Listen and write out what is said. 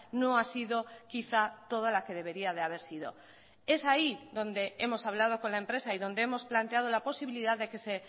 no ha sido quizá toda la que debería de haber sido es ahí donde hemos hablado con la empresa y donde hemos planteado la posibilidad de que se